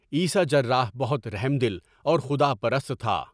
عیسیٰ جراح بہت رحم دل اور خداپرست تھا۔